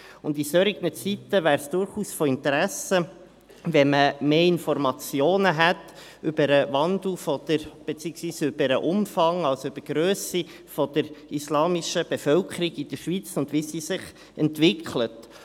In solchen Zeiten wäre es durchaus von Interesse, wenn man mehr Informationen über den Wandel hätte, beziehungsweise über die Grösse der islamischen Bevölkerung in der Schweiz und wie sich diese entwickelt.